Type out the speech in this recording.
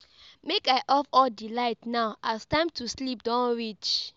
Make I off all di light now as time to sleep don reach.